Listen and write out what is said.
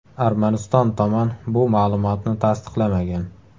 Armaniston tomon bu ma’lumotni tasdiqlamagan.